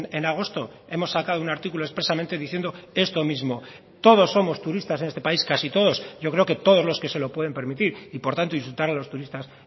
en agosto hemos sacado un artículo expresamente diciendo esto mismo todos somos turistas en este país casi todos yo creo que todos los que se lo pueden permitir y por tanto insultar a los turistas